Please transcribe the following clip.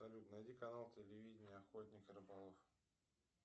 салют найди канал телевидения охотник и рыболов